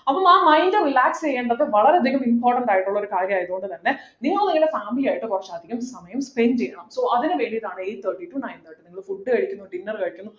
അപ്പോ ആ mind relax ചെയ്യേണ്ടത് വളരെ അധികം important ആയിട്ടുള്ള ഒരു കാര്യമായതു കൊണ്ട്തന്നെ നിങ്ങൾ നിങ്ങളുടെ family ആയിട്ട് കുറച്ച് അധികം സമയം spend ചെയ്യണം so അതിനു വേണ്ടിട്ടാണ് eight thirty to nine thirty നിങ്ങൾ food കഴിക്കുന്നു dinner കഴിക്കുന്നു